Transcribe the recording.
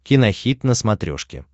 кинохит на смотрешке